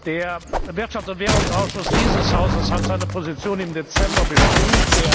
Der Wirtschafts und Währungsausschuss dieses Hauses hat seine Position im Dezember bestimmt.